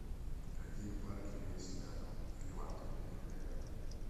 какие парки есть рядом или в отеле или рядом